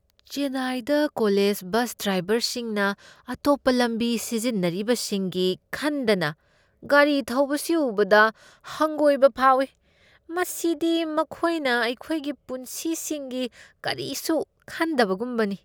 ꯆꯦꯟꯅꯥꯏꯗ college bus ꯗ꯭ꯔꯥꯏꯕꯔꯁꯤꯡꯅ ꯑꯇꯣꯞꯄ ꯂꯝꯕꯤ ꯁꯤꯖꯤꯟꯅꯔꯤꯕꯁꯤꯡꯒꯤ ꯈꯟꯗꯅ ꯒꯥꯔꯤ ꯊꯧꯕꯁꯤ ꯎꯕꯗ ꯍꯪꯒꯣꯏꯕ ꯐꯥꯎꯏ꯫ ꯃꯁꯤꯗꯤ ꯃꯈꯣꯏꯅ ꯑꯩꯈꯣꯏꯒꯤ ꯄꯨꯟꯁꯤꯁꯤꯡꯒꯤ ꯀꯔꯤꯁꯨ ꯈꯟꯗꯕꯒꯨꯝꯕꯅꯤ꯫